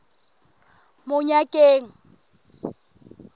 monyakeng